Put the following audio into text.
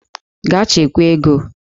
Gaa chekwaa ego!